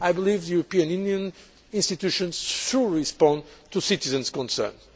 this. I believe the European Union institutions should respond to citizens' concerns.